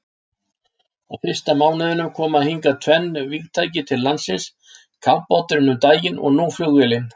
Á fyrsta mánuðinum koma hingað tvenn vígtæki til landsins, kafbáturinn um daginn og nú flugvélin.